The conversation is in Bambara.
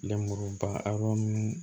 Lemuruba a yɔrɔ ninnu